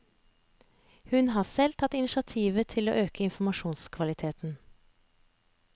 Hun har selv tatt initiativet til å øke informasjonskvaliteten.